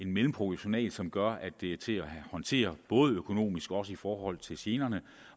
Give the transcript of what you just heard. mellemproportional som gør at det er til at håndtere både økonomisk og i forhold til generne